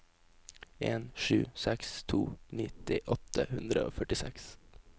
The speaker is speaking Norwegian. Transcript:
en sju seks to nitti åtte hundre og førtiseks